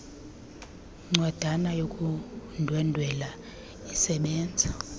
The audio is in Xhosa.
ncwadana yokundwendwela isebenza